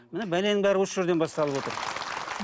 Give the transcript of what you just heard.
міне бәленің бәрі осы жерден басталып отыр